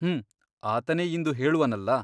ಹುಂ ಆತನೇ ಇಂದು ಹೇಳುವನಲ್ಲ !